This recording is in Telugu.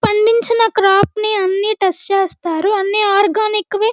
పండించిన క్రాప్ ని అన్ని టెస్ట్ చేస్తారు అన్ని ఆర్గానిక్ వి --